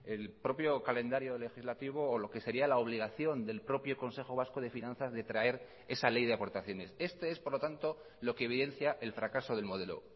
el propio calendario legislativo o lo que sería la obligación del propio consejo vasco de finanzas de traer esa ley de aportaciones esto es por lo tanto lo que evidencia el fracaso del modelo